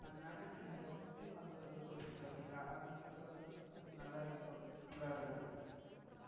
அதுனால அந்த wood mop சொல்றீங்க பாத்தீங்களா. அது உங்களுக்கு வந்து வந்து நல்லாயிருக்கும் comfortable இருக்கும்.